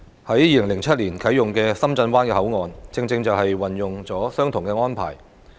在2007年啟用的深圳灣口岸，正正運用了相同的安排。